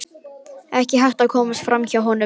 Ekki hægt að komast fram hjá honum.